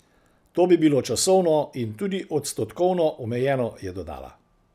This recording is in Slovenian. To bi bilo časovno in tudi odstotkovno omejeno, je dodala.